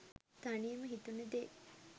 තනියම හිතුණ දේ